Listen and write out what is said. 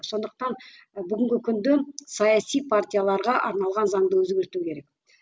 сондықтан бүгінгі күнде саяси партияларға арналған заңды өзгерту керек